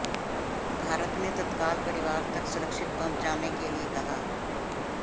भारत ने तत्काल परिवार तक सुरक्षित पहुंचाने के लिए कहा